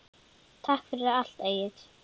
Takk fyrir allt, Egill.